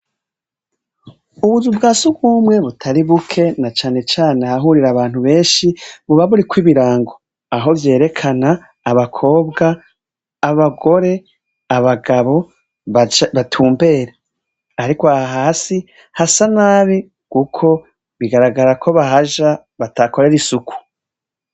Ubuzu bwasugumwe butari buke na cane cane ahahurira abantu benshi buba buriko ibirango, aho vyerekana abakobwa, abagore, abagabo batumbera, ariko aha hasi hasa nabi kuko bigaragara ko bahaja batahakorera isuku.